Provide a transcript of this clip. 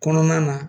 Kɔnɔna na